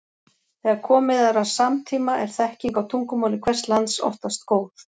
Þegar komið er að samtíma er þekking á tungumáli hvers lands oftast góð.